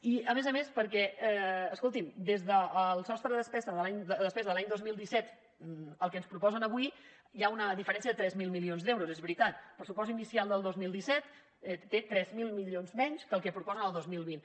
i a més a més perquè escoltin des del sostre de despesa de l’any dos mil disset al que ens proposen avui hi ha una diferència de tres mil milions d’euros és veritat el pressupost inicial del dos mil disset té tres mil milions menys que el que proposen el dos mil vint